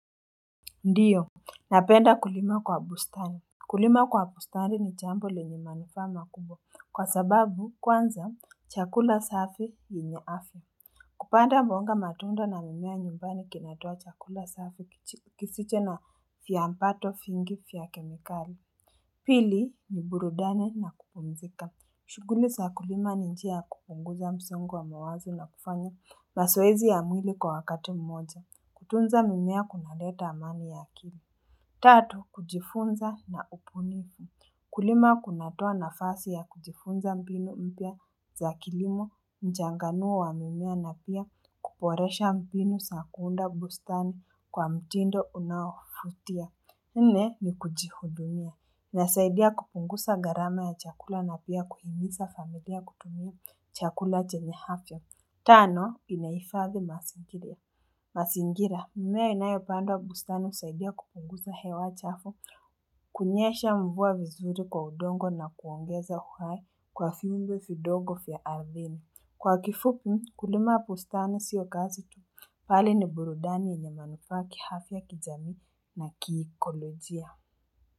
Ndiyo, napenda kulima kwa bustari. Kulima kwa bustari ni jambo lenye manufaa makubwa kwa sababu kwanza chakula safi yenye afya. Kupanda mboga matunda na mimea nyumbani kinatoa chakula safi kisicho na viambato nyingi za kemikali. Pili, ni burudani na kupumzika. Shuguli za kulima ni njia ya kupunguza msongo wa mawazo na kufanya mazoezi ya mwili kwa wakati mmoja. Kutunza mimea kuna leta amani ya akili. Tatu, kujifunza na upunifu. Kulima kunatoa nafasi ya kujifunza mbinu mpya za kilimo, kuchanganua mimea na pia kuboresha mbinu za kuunda bustani kwa mtindo unaovutia. Nne. Ni kujihudumia. Nasaidia kupunguza gharama ya chakula na pia kuhimiza familia kutumia chakula chenyefya. Tano, inaifadhi mazingira. Mazingira, mimea inayo pandwa bustani husaidia kupunguza hewa chafu. Kunyesha mvua vizuri kwa udongo na kuongeza uhai kwa viumbe vidogo vya ardhini Kwa kifupi, kulima bustani siyo kazi tu. Pale ni burudani yenye manufaa ki afya kijami na kiiikolojia.